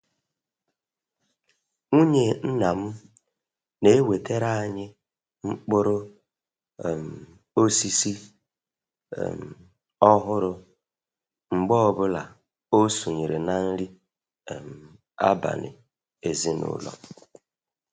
Nwunye nna m na-ewetara anyị mkpụrụ um osisi um ọhụrụ mgbe ọ bụla o sonyere na nri um abalị ezinụlọ.